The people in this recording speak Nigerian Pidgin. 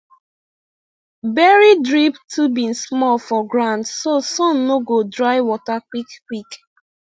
bury drip tubing small for ground so sun no go dry water quick quick